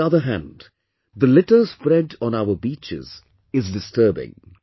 On the other hand, the litter spread on our beaches is disturbing